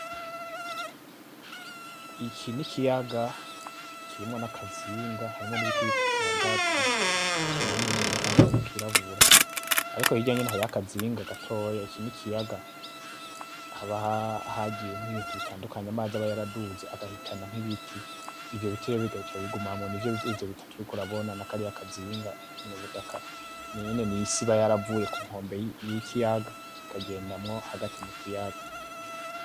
Iki n'ikiyaga kirimwo n'akazinga harimwo n'ibiti bitatu hagati binini binini; n'akandi kamwe kirabura, ariko hirya nyene hariyo akazinga gatoya, iki n'ikiyaga haba hagiye nk'ibintu bitandukanye amazi aba yaraduze agahitana nk'ibiti, ivyo biti rero bigaca bigumamwo nivyo vyivyo bitatu uriko urabona; n'akariya kazinga, n'ubutaka, n'isi iba yaravuye ku nkombe y'ikiyaga ikagendamwo hagati mu kiyaga.